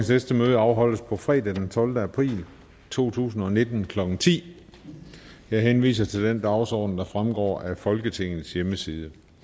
næste møde afholdes på fredag den tolvte april to tusind og nitten klokken ti jeg henviser til den dagsorden der fremgår af folketingets hjemmeside